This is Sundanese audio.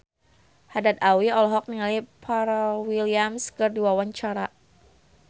Haddad Alwi olohok ningali Pharrell Williams keur diwawancara